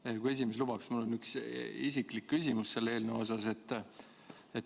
Kui Riigikogu esimees lubaks, mul on üks isiklik küsimus selle eelnõu kohta.